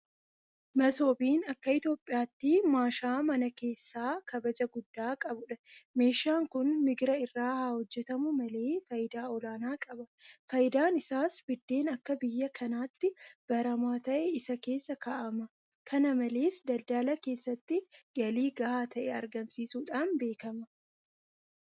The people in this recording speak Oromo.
Masoobiin akka Itoophiyaatti maashaa mana keessaa kabaja guddaa qabudha. Meeshaan kun migira irraa haahojjetamu malee faayidaa olaanaa qaba. Faayidaan isaas biddeen akka biyya kanaatti baramaa ta'e isa keessa kaa'ama. Kana malees daldala keessatti galii gahaa ta'e argamsiisuudhaan beekama.